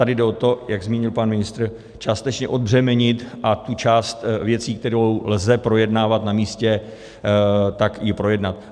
Tady jde o to, jak zmínil pan ministr, částečně odbřemenit a tu část věcí, kterou lze projednávat na místě, tak ji projednat.